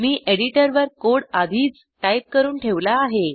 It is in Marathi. मी एडिटरवर कोड आधीच टाईप करून ठेवला आहे